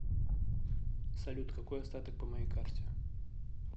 салют какой остаток по моей карте